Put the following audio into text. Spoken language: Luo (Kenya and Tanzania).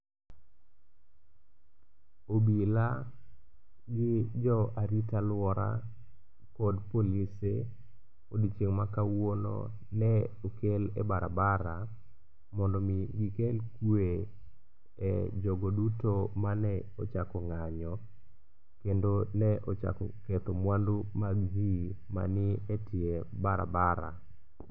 Obila gi jo arita alwora kod polise odiechieng' makawuono ne okel e barabara mondo omi gikel kwe e jogo duto mane ochako ng'anyo kendo ne ochako ketho mwandu mag ji manie e tie barabara.